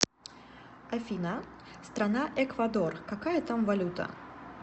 афина страна эквадор какая там валюта